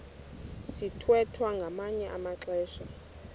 sithwethwa ngamanye amaxesha